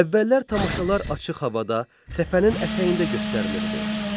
Əvvəllər tamaşalar açıq havada, təpənin ətəyində göstərilirdi.